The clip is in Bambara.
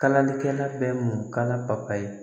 Kalalikɛla bɛ mun kan la papaye